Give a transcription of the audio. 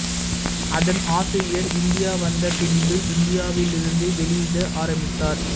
அதன் ஆசிரியர் இந்தியா வந்த பின்பு இந்தியாவிலிருந்து வெளியிட ஆரம்பித்தார்